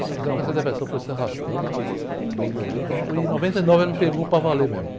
Você sabe que essa depressão foi se arrastando, melhorei, quando foi em noventa e nove, ela me pegou para valer mesmo.